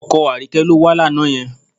Ọkọ Àríkẹ́ ló wá lánàá yẹn